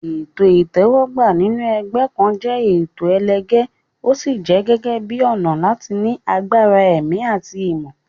Ètò ìtẹ́wọ́gbà sínú ẹgbẹ́ kan jẹ́ ètò ẹlẹgẹ́, ó sì jẹ gẹ́gẹ́ bíi ọ̀nà láti ní agbára ẹ̀mí àti ìmọ̀.